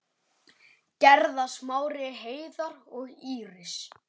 Gerða, Smári, Heiðar og Íris.